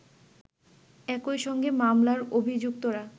একইসঙ্গে মামলার অভিযুক্তরা